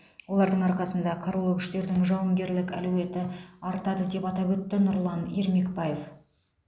олардың арқасында қарулы күштердің жауынгерлік әлеуеті артады деп атап өтті нұрлан ермекбаев